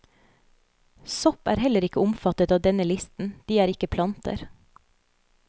Sopp er heller ikke omfattet av denne listen, de er ikke planter.